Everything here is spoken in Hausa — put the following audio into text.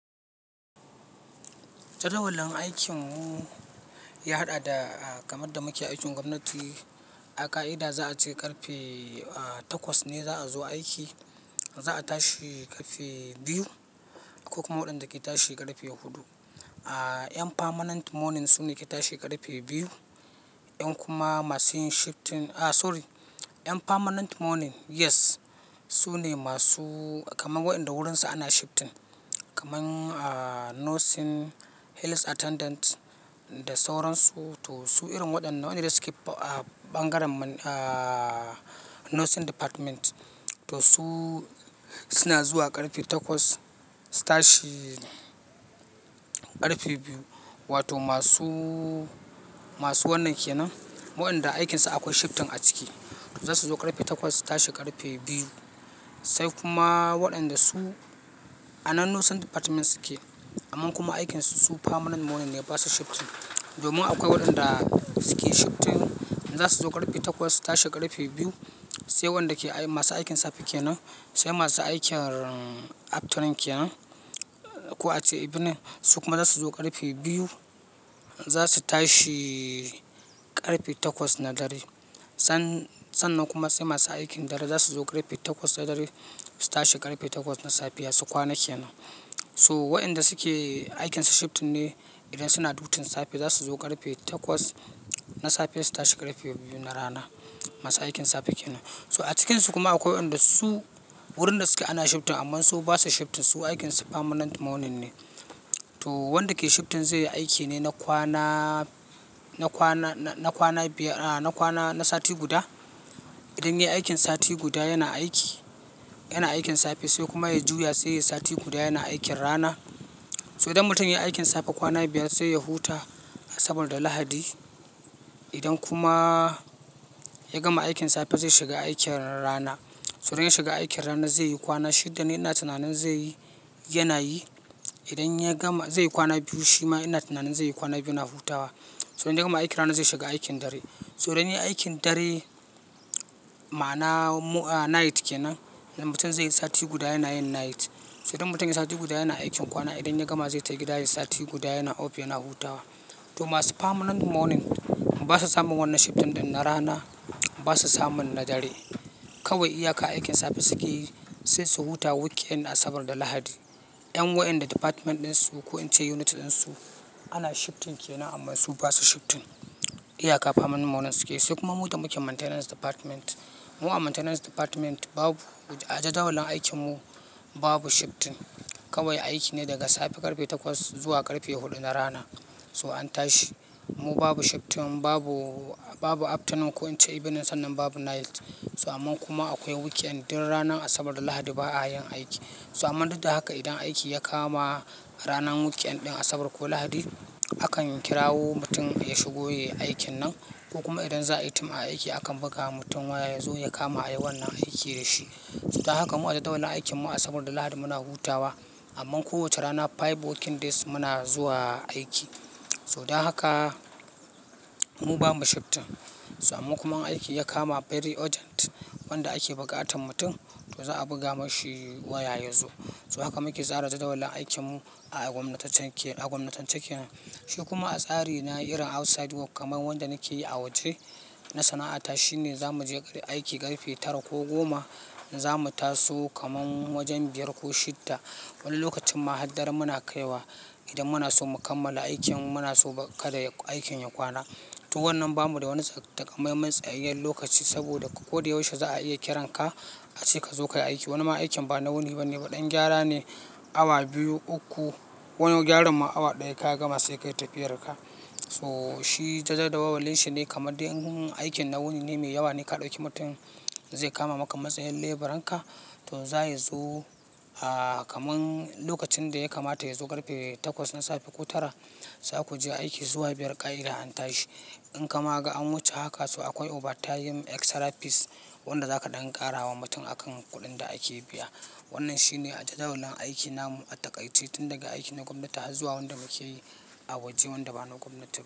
Jadawalin aikin mu ya haɗa da kamar da muke aikin gwamnati. A ka'ida za a ce ƙarfe takwas ne za a zo aiki, za a tashi ƙarfe biyu, akwai kuma waɗanda ke tashi ƙarfe huɗu. Yan permanent morning su ne ke tashi ƙarfe biyu. 'Yan kuma masu yin shifting, a sorry, 'yan permanent morning yes su ne masu kamar waɗanda wurinsa ana shifting. Kaman nursing, health attendant da sauran su, to su irin waɗannan waɗanda su ke bangaren nursing department. To su suna zuwa ƙarfe takwas, su tashi ƙarfe biyu. Wato masu, masu wannan ke nan, waɗanda aikinsa akwai shifting a ciki. Za su zo ƙarfe takwas, su tashi ƙarfe biyu. Sai kuma waɗanda su a nan nursing department suke, amma kuma aikin su permanent morning ne, ba su shifting. Domin akwai waɗanda su ke shifting, za su zo ƙarfe takwas, su tashi ƙarfe biyu. Sai wanda masu aikin safe ke nan, sai masu aikin afternoon ke nan. Ko ace evening. Su kuma za su zo ƙarfe biyu, za su tashi ƙarfe takwas na dare. Sannan kuma sai masu aikin dare za su zo ƙarfe takwas na dare, su tashi ƙarfe takwas na safiya su kwana ke nan. So waɗanda suke aikinsa shifting ne, idan suna safe dutinza su zo ƙarfe takwas na safe, su tashi ƙarfe biyu na rana. Masu aikin safe ke nan. So a cikinsu kuma akwai waɗanda su wurin da suke ana shifting amma su ba su shifting. Su aikin su permanent morning ne. To wanda ke shifting zai yi aiki ne na kwana, na kwana, na kwana biyar, na kwana, na sati guda. Idan ya yi aikin sati guda yana aiki, yana aikin safe sai kuma ya juya sai ya yi sati guda yana aikin rana. So idan mutum ya yi aikin safe kwana biyar sai yi huta saboda Lahadi. Idan kuma ya gama aikin safe zai shiga aikin rana. So idan ya shiga aikin rana zai yi kwana shida ne ina tunanin zai yi, yana yi. Idan ya gama zai yi kwana biyu shima yana tunanin zai yi kwana biyu na hutawa. So idan ya gama aikin rana zai shiga aikin dare. So idan ya yi aikin dare ma na night ke nan, mutum zai yi sati guda yana yin night. So idan mutum ya yi sati guda yana aikin kwana, idan ya gama zai tafi gida ya yi sati guda yana off, yana hutawa. To masu permanent morning ba su samun wannan shifting ɗin na rana, ba su samun na dare. Kawai iyaka aikin safe suke yi sai su huta weekend na Asabar da Lahadi. 'Yan waɗanda department ɗin su ko in ce unit ɗin su ana shifting ke nan amma su ba su shifting. Iyaka permanent morning suke yi. Sai kuma mu da muke maintenance department. Mu a maintenance department babu, a jadawalin aikin mu babu shifting. Kawai aiki ne daga safe ƙarfe takwas zuwa ƙarfe huɗu na rana. To an tashi. Mu babu shifting, babu, babu afternoon ko in ce evening sannan babu night. So amma kuma akwai weekend din ranar Asabar da Lahadi ba a yin aiki. So amma duk da haka idan aiki ya kama ranar weekend din Asabar ko Lahadi, akan kirawo mutum ya shigo ya yi aikin nan ko kuma idan za a yi tim aiki akan buga wa mutum waya ya zo ya kama a yi wannan aiki da shi. So dan haka mu a jadawalin aikin mu Asabar da Lahadi muna hutawa amma kowace rana five working days muna zuwa aiki. So dan haka mu babu shifting. So amma kuma in aiki ya kama very urgent wanda ake bukatar mutum to za a buga mashi waya ya zo. So haka muke tsara jadawalin aikin mu a gwamnatancin, a gwamnatancin kenan. Shi kuma a tsari na irin outside work kamar wanda nake yi a waje na sana'ata shine za mu je aiki ƙarfe tara ko goma, za mu taso kaman wajen biyar ko shida. Wani lokacin ma har dare muna kaiwa idan muna so mu kammala aikin, muna so kada aikin ya kwana. To wannan babu da wani takamaiman tsayayyen lokaci saboda koda yaushe za a iya kiran ka ashe ka zo ka yi aiki. Wani ma aikin ba na wuni ba ne, waɗannan gyara ne. Awa biyu, uku. Wani gyara ma awa ɗaya ka gama sai ka yi tafiyar ka. So shi jadawalin shi ne kamar idan aikin na wuni ne mai yawa ne ka ɗauki mutum zai kama maka matsayan laboran ka, to zai zo kaman lokacin da ya kamata ya zo ƙarfe takwas na safe ko tara, za ku je aiki zuwa biyar ƙa'ida an tashi. In kama ga an wuce haka su akwai overtime extra fees wanda za ka ɗan ƙara wa mutum a kan kuɗin da ake biya. Wannan shi ne a jadawalin aiki na mu a takai ce tun daga aiki na gwamnati har zuwa wanda muke yi a waje wanda ba na gwamnati.